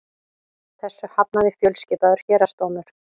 Þessu hafnaði fjölskipaður héraðsdómur